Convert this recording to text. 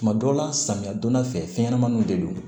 Tuma dɔw la samiya donda fɛ fɛnɲɛnamaninw de don